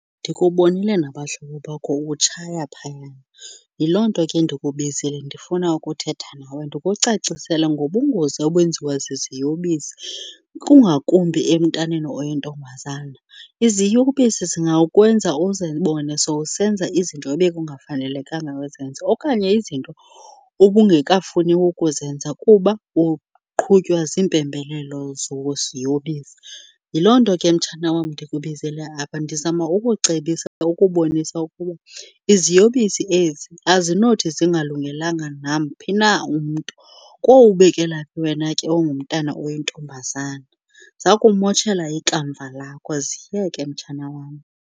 Ndikubonile nabahlobo bakho utshaya phayana, yiloo nto ke ndikubizile, ndifuna ukuthetha nawe ndikucacisele ngobungozi obenziwa ziziyobisi kungakumbi emntaneni oyintombazana. Iziyobisi zingakwenza uzibone sowusenza izinto ebekungafanelekanga uzenze okanye izinto ubungekafuni ukuzenza kuba uqhutywa ziimpembelelo zeziyobisi. Yiloo nto ke, mtshana wam, ndikubizele apha, ndizama ukucebisa ukubonisa ukuba iziyobisi ezi azinothi zingalungelanga namphi na umntu, kowubekela phi wena ke ongumntana oyintombazana. Zawukumoshela ikamva lakho. Ziyeke, mtshana wam.